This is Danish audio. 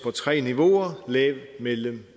tre niveauer lav mellem